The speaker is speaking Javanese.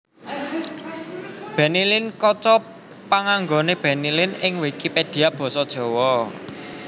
Bennylin kaca panganggoné Benny Lin ing Wikipedia basa Jawa